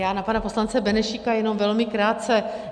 Já na pana poslance Benešíka jenom velmi krátce.